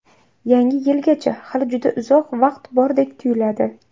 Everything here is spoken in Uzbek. Yangi yilgacha hali juda uzoq vaqt bordek tuyuladi.